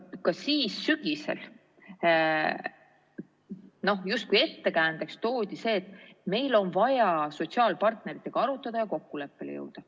Ka siis sügisel justkui ettekäändeks toodi see, et meil on vaja sotsiaalpartneritega arutada ja kokkuleppele jõuda.